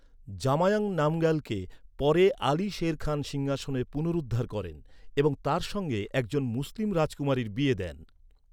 জাময়াং নামগ্যালকে পরে আলী শের খান সিংহাসনে পুনরুদ্ধার করেন এবং তাঁর সঙ্গে এক জন মুসলিম রাজকুমারীর বিয়ে দেন।